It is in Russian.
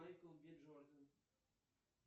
майкл би джордан